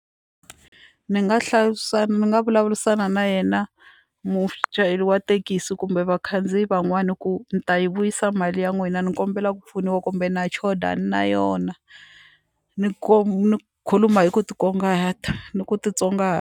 Ni nga hlayisa ni nga vulavurisana na yena muchayeri wa thekisi kumbe vakhandziyi van'wana ku ni ta yi vuyisa mali ya n'wina ni kombela ku pfuniwa kumbe na choda a na yona ni ni khuluma hi ku ni ku .